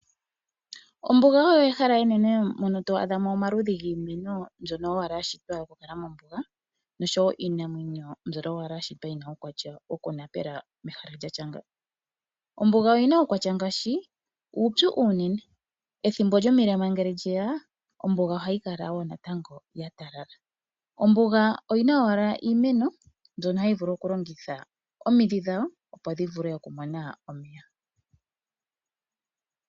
Ombuga oyo ehala enene mono to a dhamo omaludhi giimeno mbyono owala ya shitwa oku kala mombuga nosho wo iinamwenyo mbyono owala ya shitwa yina uukwatya wokunapela mehala lyatya nga. Ombuga oyina uukwatya ngaashi uupyu uunene ethimbo lyomilema ngele lye ya ombuga ohayi kala wo natango ya talala. Ombuga oyina owala iimeno mbyono hayi longitha omidhi dhawo opo dhi vule okumona omeya.